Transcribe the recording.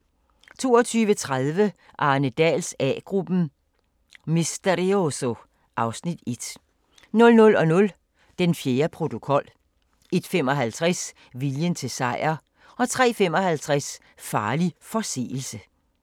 22:30: Arne Dahls A-gruppen: Misterioso (Afs. 1) 00:00: Den fjerde protokol 01:55: Viljen til sejr 03:55: Farlig forseelse